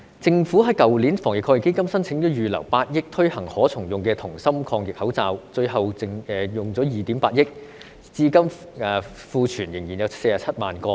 政府在去年防疫抗疫基金申請預留8億元推行可重用的銅芯抗疫口罩，最後耗資2億 8,000 萬元，至今庫存仍有47萬個。